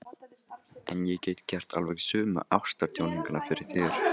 En ég get gert alveg sömu ástarjátninguna fyrir þér.